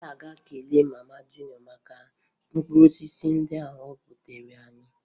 Anyị ga-ekele mama Juniọ maka mkpụrụosisi ndị o butere anyị